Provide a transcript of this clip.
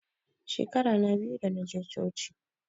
Shekara na biyu da naje coci